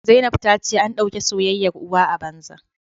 Zainab ta ce an dauke soyayyar uwa a banza